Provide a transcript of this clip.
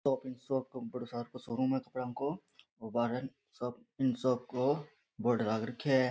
Shop in shop showroom है कपड़ो को और बाहरे शॉप इन शॉप को बोर्ड लाग रखया है।